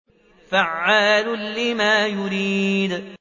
فَعَّالٌ لِّمَا يُرِيدُ